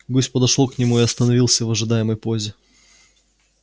гусь подошёл к нему и остановился в ожидательной позе